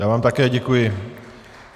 Já vám také děkuji.